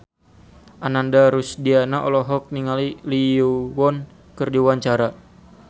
Ananda Rusdiana olohok ningali Lee Yo Won keur diwawancara